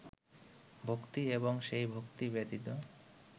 ভক্তি এবং সেই ভক্তি ব্যতীত